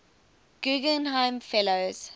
guggenheim fellows